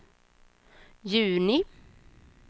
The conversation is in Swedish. juni